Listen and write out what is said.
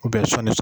U bɛ sɔnni